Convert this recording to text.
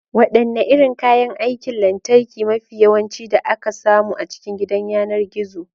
Wadanne irin kayan aikin lantarki mafi yawanci da aka samu a cikin gidan yanar gizo?